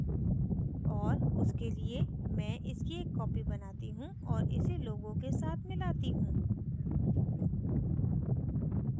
और उसके लिए मैं इसकी एक copy बनाती हूँ और इसे logo के साथ मिलाती हूँ